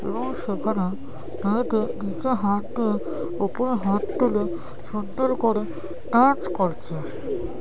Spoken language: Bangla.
এবং সেখানে নিচে হাত দিয়ে উপরে হাত তুলে সুন্দর করে নাচ করছে।